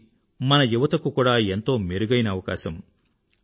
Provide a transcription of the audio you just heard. ఇది మన యువత కు కూదా ఎంతో మెరుగైన అవకాశం